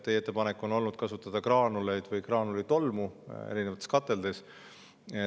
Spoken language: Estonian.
Teie ettepanek on olnud kasutada graanuleid või graanulitolmu erinevates kateldes.